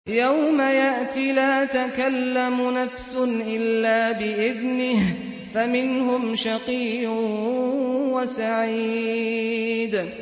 يَوْمَ يَأْتِ لَا تَكَلَّمُ نَفْسٌ إِلَّا بِإِذْنِهِ ۚ فَمِنْهُمْ شَقِيٌّ وَسَعِيدٌ